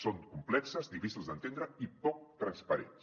són complexos difícils d’entendre i poc transparents